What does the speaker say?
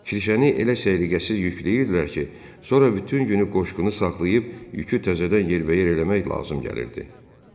Kirşəni elə səliqəsiz yükləyirdilər ki, sonra bütün günü qoşqunu saxlayıb yükü təzədən yerbəyer eləmək lazım gəlirdi.